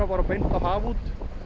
beint á haf út